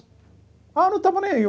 Ah eu não estava nem aí.